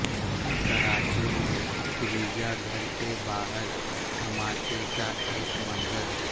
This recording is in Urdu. کراچی میں گرجاگھر کے باہر دھماکے کا ایک منظر